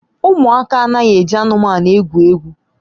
Ụmụaka anaghị eji anụmanụ egwu egwu